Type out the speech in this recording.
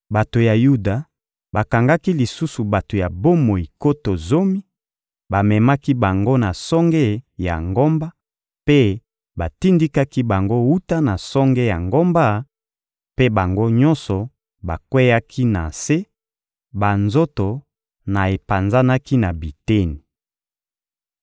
Bato ya Yuda bakangaki lisusu bato ya bomoi nkoto zomi, bamemaki bango na songe ya ngomba mpe batindikaki bango wuta na songe ya ngomba; mpe bango nyonso bakweyaki na se, banzoto na epanzanaki na biteni.